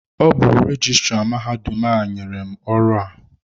Ọ bụ rejistra mahadum a nyere m ọrụ a.